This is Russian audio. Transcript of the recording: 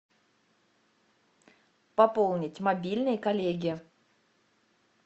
пополнить мобильный коллеге